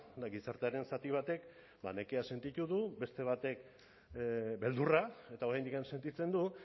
eta gizartearen zati batek ba nekea sentitu du beste batek beldurra eta oraindik sentitzen du